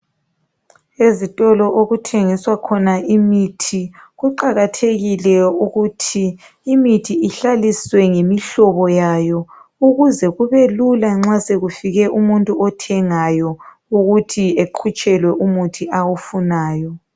Izitolo okuthengiswa khona imithi kuqakathekile ukuthi imithi ihlaliswe ngemihlobo yayo ukuze kube lula nxa sokufike umuntu othengayo ukuthi eqhutshelwe umuthi awufunayo.